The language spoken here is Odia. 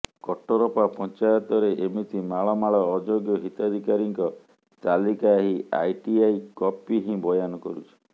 କଟରପା ପଂଚାୟତରେ ଏମିତି ମାଳ ମାଳ ଅଯୋଗ୍ୟ ହିତାଧିକାରୀଙ୍କ ତାଲିକା ଏହି ଆରଟିଆଇ କପି ହିଁ ବୟାନ କରୁଛି